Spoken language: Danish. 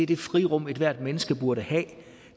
det frirum ethvert menneske burde have